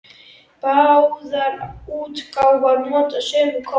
Báðar útgáfur nota sömu kort.